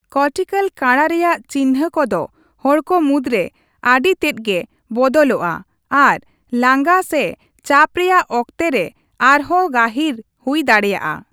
Cortical ᱠᱟᱬᱟ ᱨᱮᱭᱟᱜ ᱪᱤᱱᱦᱟᱹ ᱠᱚᱫᱚ ᱦᱚᱲᱠᱚ ᱢᱩᱫᱽᱨᱮ ᱟᱹᱰᱤᱛᱮᱫ ᱜᱮ ᱵᱚᱫᱚᱞᱚᱜᱼᱟ ᱟᱨ ᱞᱟᱸᱜᱟ ᱥᱮ ᱪᱟᱯ ᱨᱮᱭᱟᱜ ᱚᱠᱛᱮ ᱨᱮ ᱟᱨᱦᱚᱸ ᱜᱟᱹᱦᱤᱨ ᱦᱩᱭ ᱫᱟᱲᱮᱭᱟᱜᱼᱟ ᱾